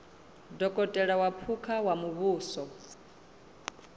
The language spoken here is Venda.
dokotela wa phukha wa muvhuso